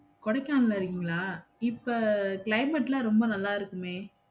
கொடைக்கானல்ல இருக்கீங்களா? இப்போ climate லாம் ரொம்ப நல்லா இருக்குமே!